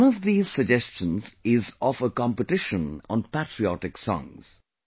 One of these suggestions is of a competition on patriotic songs